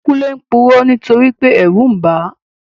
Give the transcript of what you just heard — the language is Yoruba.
Kúnlé purọ́ nítorípé ẹ̀rù n bàá